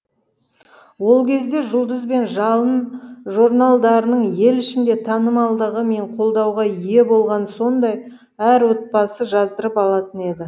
ол кезде жұлдыз бен жалын жорналдарының ел ішінде танымалдығы мен қолдауға ие болғаны сондай әр отбасы жаздырып алатын еді